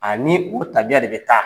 Ani u tabiya de bɛ taa.